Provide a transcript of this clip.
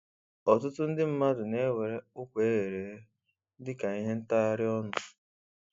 Ọtụtụ ndị mmadụ na-ewere ụkwa eghere eghe dịka ihe ntagharị ọnụ